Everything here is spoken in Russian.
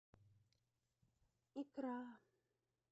икра